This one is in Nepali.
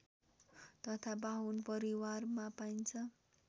तथा बाहुन परिवारमा पाइन्छ